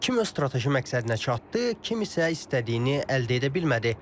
Kim öz strateji məqsədinə çatdı, kim isə istədiyini əldə edə bilmədi?